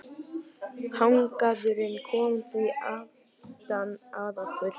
Hagnaðurinn kom því aftan að okkur.